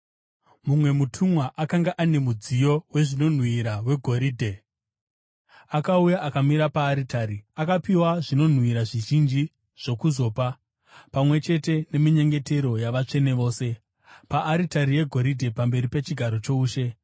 Mumwe mutumwa, akanga ano mudziyo wezvinonhuhwira wegoridhe, akauya akamira paaritari. Akapiwa zvinonhuhwira zvizhinji zvokuzopa, pamwe chete neminyengetero yavatsvene vose, paaritari yegoridhe pamberi pechigaro choushe.